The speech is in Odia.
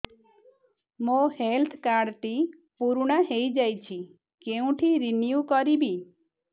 ମୋ ହେଲ୍ଥ କାର୍ଡ ଟି ପୁରୁଣା ହେଇଯାଇଛି କେଉଁଠି ରିନିଉ କରିବି